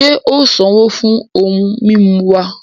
Ṣe o sanwo fún ohùn mímú wà?